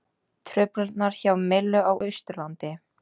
Truflanir hjá Mílu á Austurlandi